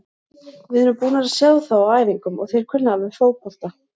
Við erum búnir að sjá þá á æfingum og þeir kunna alveg fótbolta.